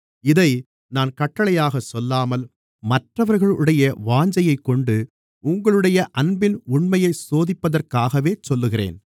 இதை நான் கட்டளையாகச் சொல்லாமல் மற்றவர்களுடைய வாஞ்சையைக் கொண்டு உங்களுடைய அன்பின் உண்மையைச் சோதிப்பதற்காகவே சொல்லுகிறேன்